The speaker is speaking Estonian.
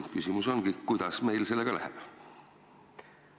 Küsimus ongi: kuidas meil sellega läheb?